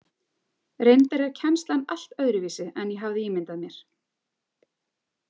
Reyndar er kennslan allt öðruvísi en ég hafði ímyndað mér.